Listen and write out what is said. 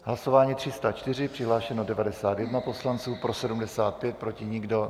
Hlasování 304, přihlášeno 91 poslanců, pro 75, proti nikdo.